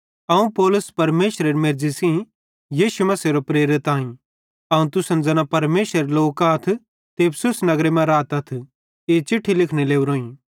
अवं पौलुस परमेशरेरी मेर्ज़ी सेइं यीशु मसीहेरो प्रेरित आईं अवं तुसन ज़ैना परमेशरेरे लोक आथ ते इफिसुस नगरे मां रातथ ई चिट्ठी लिखने लोरोईं